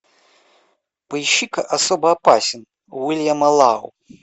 поищи ка особо опасен уильяма лау